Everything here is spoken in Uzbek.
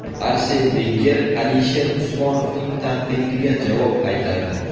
Arsen Venger Alisher Usmonovning tanqidiga javob qaytardi.